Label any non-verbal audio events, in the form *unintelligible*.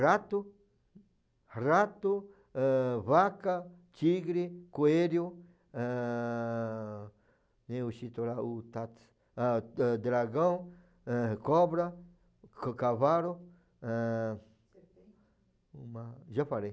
Rato, rato, eh, vaca, tigre, coelho, eh, tem o *unintelligible* o *unintelligible* ah eh dragão, eh, cobra, ca cavalo, eh, serpente, uma, já falei.